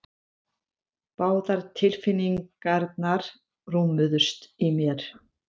Báðar tilfinningarnar rúmuðust í mér.